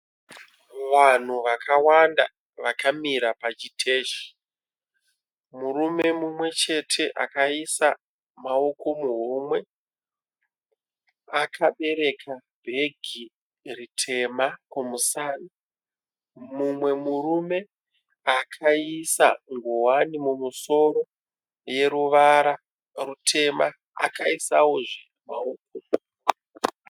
Vanhu vakawanda vakamira pachiteshi. Murume mumwechete akaisa maoko muhomwe. Akabereka bhegi ritema kumusana. Mumwe murume akaisa ngowani mumusoro yeruvara rutema.